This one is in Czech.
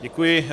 Děkuji.